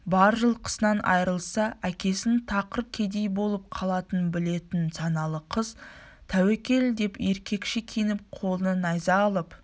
бар жылқысынан айырылса әкесінің тақыр кедей болып қалатынын білетін саналы қыз тәуекел деп еркекше киініп қолына найза алып